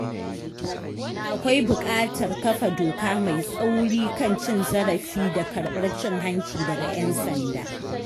Akwai buƙatar kafa doka mai tsauri kan cin zarafi da karbar cin-hanci daga 'yan sanda.